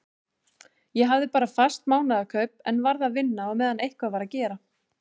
Ég hafði bara fast mánaðarkaup en varð að vinna á meðan eitthvað var að gera.